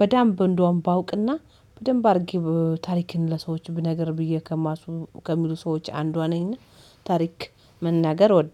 በዳምብ እንደውም ባውቅና በደንብ አድርጌ ታሪክን ለሰዎች ብነግር ብዬ ከሚያስቡ ከሚሉ ሰዎች አንዷ ነኝና ታሪክ መናገር እወዳለሁ